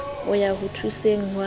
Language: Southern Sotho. ho ya ho thuseng ha